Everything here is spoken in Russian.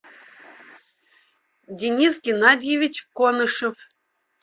денис геннадьевич конышев